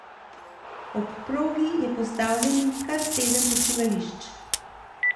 Ob progi je postavljenih kar sedem počivališč.